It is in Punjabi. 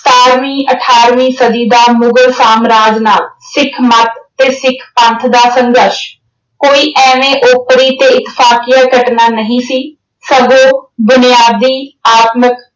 ਸਤਾਰਵੀਂ, ਅਠਾਰਵੀਂ ਸਦੀ ਦਾ ਮੁਗਲ ਸਾਮਰਾਜ ਨਾਲ ਸਿੱਖ ਮੱਤ ਤੇ ਸਿੱਖ ਪੰਥ ਦਾ ਸੰਘਰਸ਼ ਕੋਈ ਐਵੇਂ ਓਪਰੀ ਤੇ ਇਤਫਾਕਿਆ ਘਟਨਾ ਨਹੀਂ ਸੀ। ਸਗੋਂ ਬੁਨਿਆਦੀ, ਆਤਮਿਕ